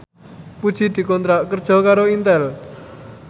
Puji dikontrak kerja karo Intel